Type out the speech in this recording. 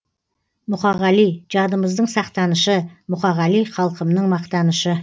мұқағали жадымыздың сақтанышы мұқағали халқымның мақтанышы